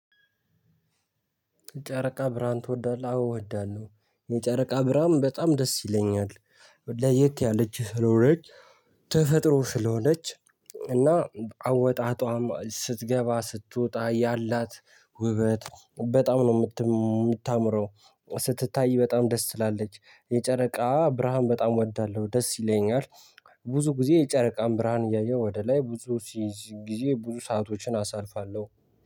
የጨረቃ ብርሃን ትወዳለህ አዎ እወዳለሁ የጨረቃ ብርሃን በጣም ደስ ይለኛል። ለየት ያለች ስለሆነች ተፈጥሮ ስለሆነች እና አወጣጧም ስትገባ ስትወጣ ያላት ውበት በጣም ነው እምታምረው። ስትታይ በጣም ደስ ትላለች የጨረቃ ብርሃን በጣም እወዳለሁ ደስ ይለኛል። ብዙ ጊዜ የጨረቃን ብርሃን እያየሁ ወደ ላይ ብዙ ጊዜ ብዙ ሰአቶችን አሳልፋለሁ